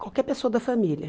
qualquer pessoa da família.